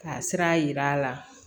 Ka sira yira a la